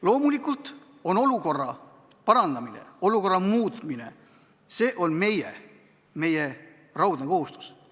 Loomulikult on olukorra parandamine olukorra muutmine ja see on meie raudne kohustus.